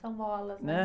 São molas, né?é?